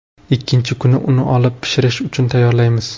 Ikkinchi kuni uni olib, pishirish uchun tayyorlaymiz.